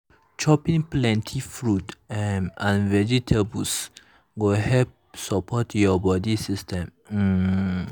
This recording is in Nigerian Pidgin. chopping plenty fruit um and vegetables go help support your body system. um